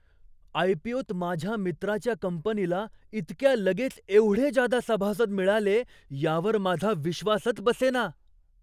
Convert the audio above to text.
आय.पी.ओ.त माझ्या मित्राच्या कंपनीला इतक्या लगेच एवढे जादा सभासद मिळाले, यावर माझा विश्वासच बसेना.